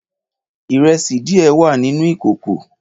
Ìrẹsídiẹ wà nìnú ìÌkókò.